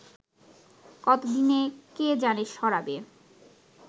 কতদিনে কে জানে সরাবে